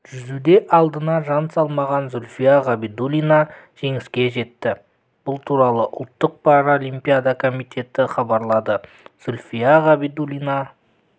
жүзуде алдына жан салмаған зульфия ғабидуллина жеңіске жетті бұл туралы ұлттық паралимпиада комитеті хабарлады зульфия ғабидуллина